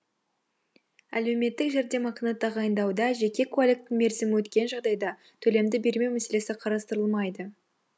әлеуметтік жәрдемақыны тағайындауда жеке куәліктің мерзімі өткен жағдайда төлемді бермеу мәселесі қарастырылмайды